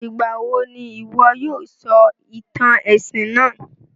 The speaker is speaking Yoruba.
Ìgbàwo n'ìwo yóò sọ ìtàn èsìn náà?